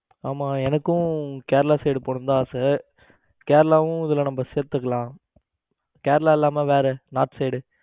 ஆமா எனக்கும் கேரளா side போனுனு தான் ஆசை. கேரளாவும் இதுல நம்ம சேர்த்துக்கலாம் கேரளா இல்லாம வேற North Side.